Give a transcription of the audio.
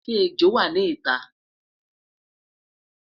shey ẹjọ wà nì ita?